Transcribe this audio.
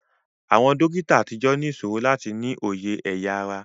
Àwọn dókítà àtijọ́ ní ìṣòro láti ní òye ẹ̀ya ara